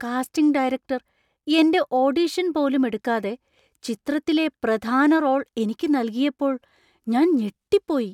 Casting director എന്‍റെ audition പോലും എടുക്കാതെ ചിത്രത്തിലെ പ്രധാന റോൾ എനിക്ക് നൽകിയപ്പോൾ ഞാൻ ഞെട്ടിപ്പോയി.